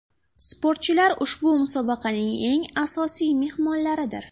Sportchilar ushbu musobaqaning eng asosiy mehmonlaridir.